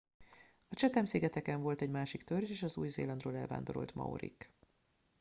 a chatham szigeteken volt egy másik törzs is az új zélandról elvándorolt maorik